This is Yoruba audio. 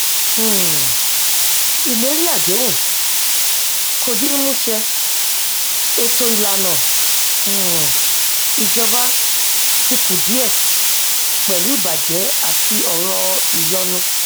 um ìlérí àdéhùn kò di mímú ṣẹ ètò ìlànà um ìjọba ti kùdìẹ pẹlú ìbàjẹ àti ọrọ ìyọnu